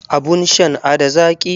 Abun shan n ada zaki?